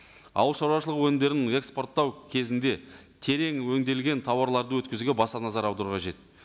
ауыл шаруашылығы өнімдерін экспорттау кезінде терең өңделген тауарларды өткізуге баса назар аудару қажет